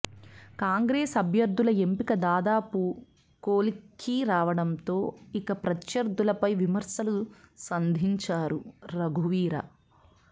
కాంగ్రెస్ అభ్యర్థుల ఎంపిక దాదాపు కొలిక్కి రావడంతో ఇక ప్రత్యర్థులపై విమర్శలు సంధించారు రఘువీరా